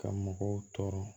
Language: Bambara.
Ka mɔgɔw tɔɔrɔ